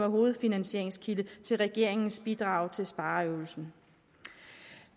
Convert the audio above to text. hovedfinansieringskilde til regeringens bidrag til spareøvelsen